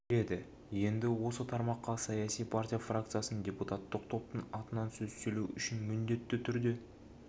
береді енді осы тармаққа саяси партия фракциясының депутаттық топтың атынан сөз сөйлеу үшін міндетті түрде